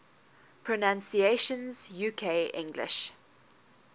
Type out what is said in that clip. pronunciations uk english